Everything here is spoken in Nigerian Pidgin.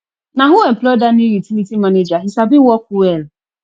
na who employ dat new utility manager he sabi work well